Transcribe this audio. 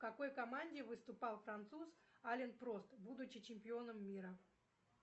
в какой команде выступал француз ален прост будучи чемпионом мира